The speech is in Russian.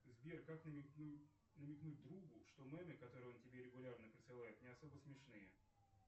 сбер как намекнуть другу что мемы которые он тебе регулярно присылает не особо смешные